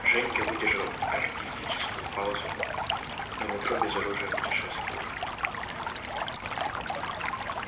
женька выдержал артистическую паузу по метро без оружия путешествует